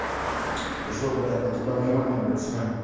и что брать на тебя внимание обращаю